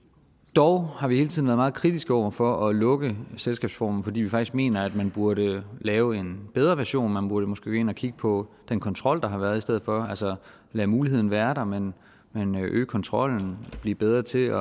dog har vi hele tiden været meget kritiske over for at lukke selskabsformen fordi vi faktisk mener at man burde lave en bedre version man burde måske gå ind at kigge på den kontrol der har været i stedet for altså lade muligheden være der men øge kontrollen og blive bedre til